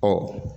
Ɔ